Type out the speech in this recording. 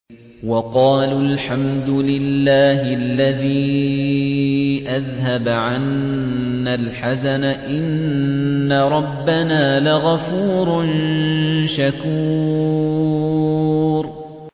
وَقَالُوا الْحَمْدُ لِلَّهِ الَّذِي أَذْهَبَ عَنَّا الْحَزَنَ ۖ إِنَّ رَبَّنَا لَغَفُورٌ شَكُورٌ